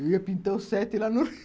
Eu ia pintar o sete lá no